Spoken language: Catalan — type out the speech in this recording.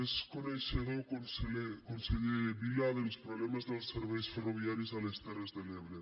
és coneixedor conseller vila dels problemes dels serveis ferroviaris a les terres de l’ebre